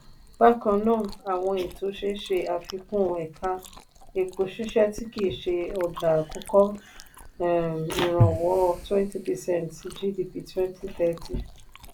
bákan náà àwọn ètò ṣe ṣe àfikún ẹ̀ka epo ṣíṣẹ tí kì ṣe ọjà akọkọ um ìrànwọ́ 20 percent sí gdp 2030.